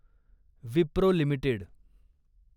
Wipro limited